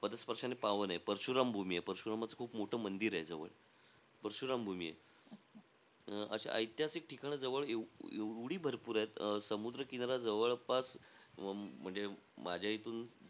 पदस्पर्शाने पावन आहे. परशुराम भूमी आहे. परशुरामाचं खूप मोठं मंदिरे जवळ. परशुराम भूमी आहे. अं अशी ऐतिहासिक ठिकाणं जवळ एवढी एवढी भरपूर आहे. अं समुद्र किनारा जवळपास, म्हणजे माझ्या इथून,